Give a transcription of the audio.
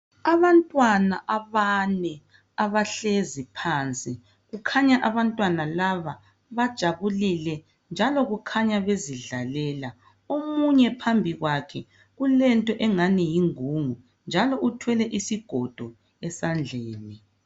Abantwana abane abahlezi phansi kukhanya abantwana laba bajabulile njalo kukhanya bezidlalela omunye phambi kwakhe kulento engani yingungu njalo uthwele isigodo esandleni.